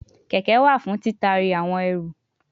Keke wa fun titari awon eru